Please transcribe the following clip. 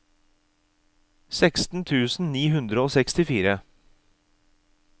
seksten tusen ni hundre og sekstifire